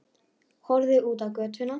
Horfði út á götuna.